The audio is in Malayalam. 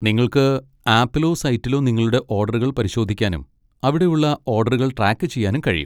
നിങ്ങൾക്ക് ആപ്പിലോ സൈറ്റിലോ നിങ്ങളുടെ ഓഡറുകൾ പരിശോധിക്കാനും അവിടെ ഉള്ള ഓഡറുകൾ ട്രാക്ക് ചെയ്യാനും കഴിയും.